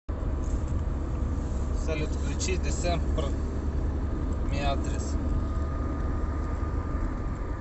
салют включи десембер миатрисс